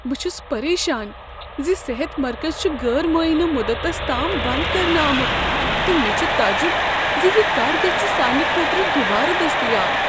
بہٕ چھس پریشان ز صحت مرکز چھ غٲر معینہ مدتس تام بنٛد كرنہٕ آمت تہٕ مے٘ چھ تعجِب زِ یہ کر گژھ سانِہ خٲطرٕ دوبارٕ دٔستیاب۔